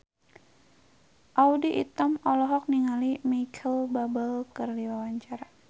Audy Item olohok ningali Micheal Bubble keur diwawancara